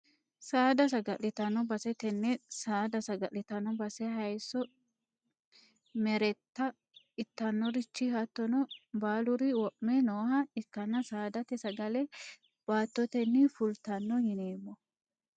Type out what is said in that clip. Saada sagalitano base tene saada sagalitano base hayisso meretta itanorichi hattono baaluri wome nooha ikanna saadate sagale baatoteni fultano yineemo.